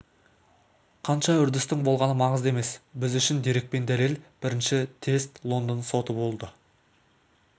қанша үрдістің болғаны маңызды емес біз үшін дерек пен дәлел бірінші тест лондон соты болды